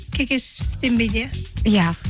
кекештенбейді иә иә